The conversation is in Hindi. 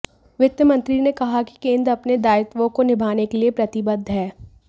वित्त मंत्री ने कहा कि केंद्र अपने दायित्वों को निभाने के लिए प्रतिबद्ध है